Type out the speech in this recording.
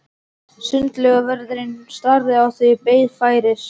Sundlaugarvörðurinn starði á þau og beið færis.